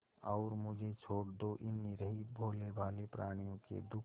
और मुझे छोड़ दो इन निरीह भोलेभाले प्रणियों के दुख